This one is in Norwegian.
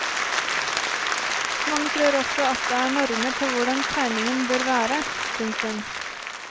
Mange tror også at det er normer for hvordan tegningen bør være. punktum